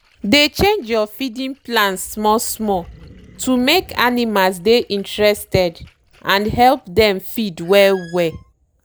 dey change your feeding plans small-small to make animals dey interested and help them feed well well.